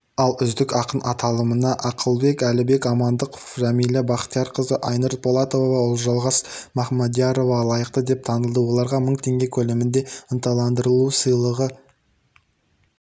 ал үздік ақын аталымына әлібек амандықов жәмиля бахтиярқызы айнұр полатова ұлжалғас мамадиярова лайықты деп танылды оларға мың теңге көлемінде ынталандыру сыйлығы